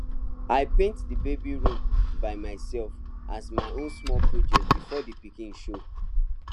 i paint d baby room by myself as my own small project before d pikin show